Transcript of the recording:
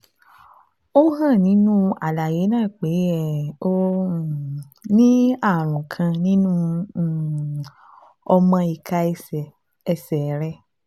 Ó hàn nínú àlàyé náà pé um o um ní ààrùn kan nínú um ọmọ ìka ẹsẹ̀ ẹsẹ̀ rẹ